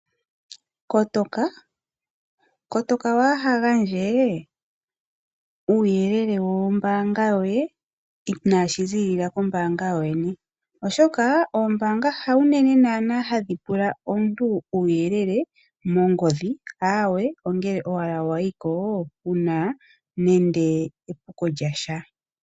Kotoka wagandje uuyelele wombaanga yoye inashi ziilila kombaanga yoyene ,oshoka oombanga haunene naana hadhi pula omuntu uuyelele mongodhi aawe ongele owala wayiko wuna nande epuko lyontumba.